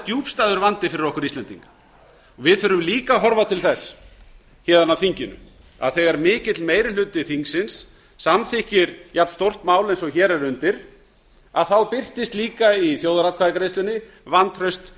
djúpstæður vandi fyrir okkur íslendinga við þurfum líka að horfa til þess héðan af þinginu að þegar mikill meiri hluti þingsins samþykkir jafnstórt mál eins og hér er undir þá birtist líka í þjóðaratkvæðagreiðslunni vantraust